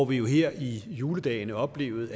her i juledagene oplevede